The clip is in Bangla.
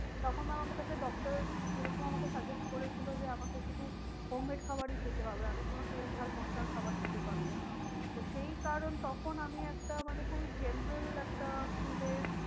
তখন doctor যেরকম আমাকে suggest করেছিল যে আমাকে শুধু home made খাবারই খেতে হবে। আমি কোনো তেল ঝাল মশলার খাবার খেতে পারবো না। তো সেই কারণ তখন আমি একটা মানে খুবই general একটা food এর